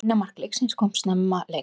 Eina mark leiksins koma snemma leiks